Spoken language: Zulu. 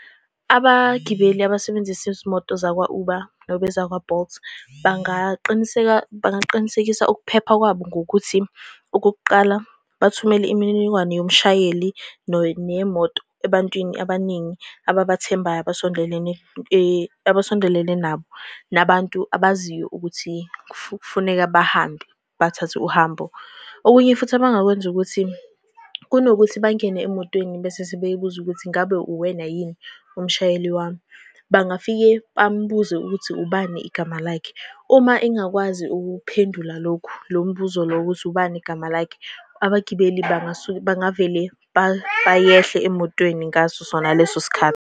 Abagibeli abasebenzisa izimoto zakwa-Uber noma ezakwa-Bolt bangaqiniseka, bangaqinisekisa ukuphepha kwabo ngokuthi, okokuqala, bathumele imininingwane yomshayeli neyemoto ebantwini abaningi ababathembayo, abasondelene abasondelene nabo, nabantu abaziyo ukuthi kufuneka bahambe, bathathe uhambo. Okunye futhi abangakwenza ukuthi kunokuthi bangene emotweni bese sebeyibuza ukuthi ngabe uwena yini umshayeli wami, bangafike bambuze ukuthi ubani igama lakhe. Uma engakwazi ukuphendula lokhu, lowo mbuzo lowo, ukuthi ubani igama lakhe, abagibeli bangasuke, bangavele bayehle emotweni ngaso sona leso sikhathi.